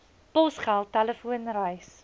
posgeld telefoon reis